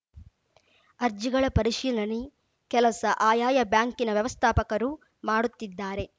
ಅರ್ಜಿಗಳ ಪರಿಶೀಲನೆ ಕೆಲಸ ಆಯಾಯ ಬ್ಯಾಂಕಿನ ವ್ಯವಸ್ಥಾಪಕರು ಮಾಡುತ್ತಿದ್ದಾರೆ